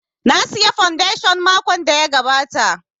Na saya fondation makon da ya gabata